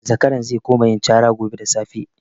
Zakaran ze kuma yin cara gobe da safe.